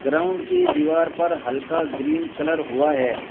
Ground की दीवार पर हल्का ग्रीन कलर हुआ है।